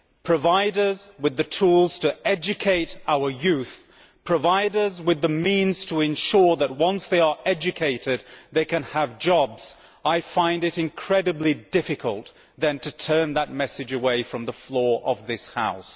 provide us with the tools to educate our youth, provide us with the means to ensure that once they are educated they can have jobs', I find it incredibly difficult to then turn that message away from the floor of this House.